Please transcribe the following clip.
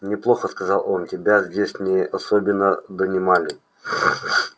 неплохо сказал он тебя здесь не особенно донимали